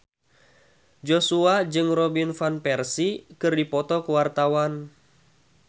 Joshua jeung Robin Van Persie keur dipoto ku wartawan